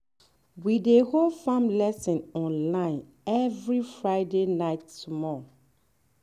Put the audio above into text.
we dey hold farm lesson online every friday night small.